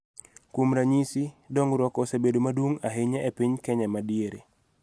Kuom ranyisi, dongruok osebedo maduong� ahinya e piny Kenya ma Diere�